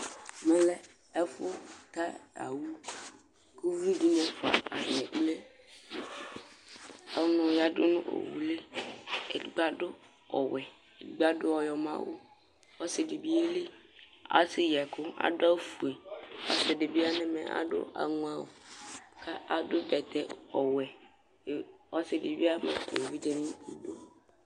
lɛ ɛfu ka owu ko uvi dini ɛfua atani ekple ɔnu yado n'owu li edigbo ado ɔwɛ edigbo ado ɔyɔmɔ awu ɔse di bi yeli asɛ yi ɛku ado awu fue ɔse di bi yeli asɛ yi ɛku ado awu fue ɔse di bi ya n'ɛmɛ ado aŋɔ awu k'ado bɛtɛ ɔwɛ ko ɔse di bi ama evidze n'idu